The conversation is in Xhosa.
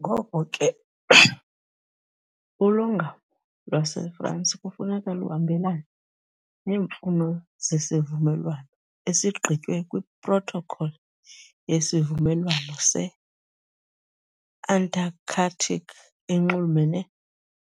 Ngoko ke ulongamo lwaseFransi kufuneka luhambelane neemfuno zesivumelwano, esigqitywe yiProtocol yeSivumelwano se-Antarctic enxulumene